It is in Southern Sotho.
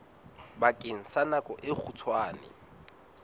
bakeng sa nako e kgutshwane